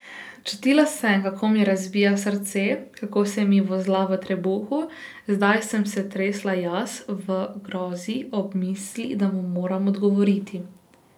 Čutila sem, kako mi razbija srce, kako se mi vozla v trebuhu, zdaj sem se tresla jaz, v grozi ob misli, da mu moram odgovoriti.